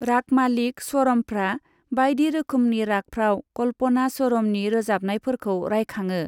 रागमालिक स्वरमफ्रा बायदि रोखोमनि रागफ्राव कल्पना स्वरमनि रोजाबनायफोरखौ रायखाङो।